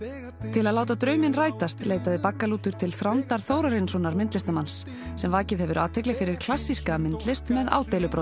til að láta drauminn rætast leitaði baggalútur til Þrándar Þórarinssonar myndlistarmanns sem vakið hefur athygli fyrir klassíska myndlist með